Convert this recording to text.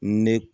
Ne